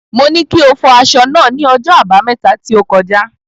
Mo ní kí o fọ aṣọ náà ní ọjọ́ Àbámẹ́ta tí ó kọjá.